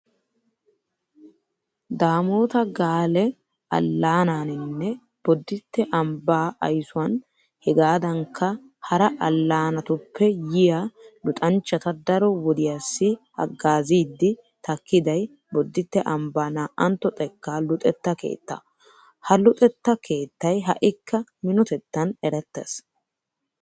Daamoota gaale allaanaaninne bodditte ambbaa aysuwan hegaadankka hara allaanatuppe yiya luxanchchata daro wodiyassi haggaaziiddi takkiday bodditte ambbaa 2tto xekkaa luxetta keettaa. Ha luxetta keettay ha"ikka minotettan erettees.